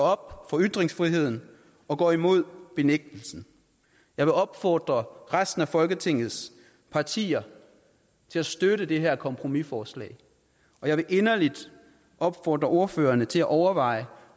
op om ytringsfriheden og går imod benægtelsen jeg vil opfordre resten af folketingets partier til at støtte det her kompromisforslag jeg vil inderligt opfordre ordførerne til at overveje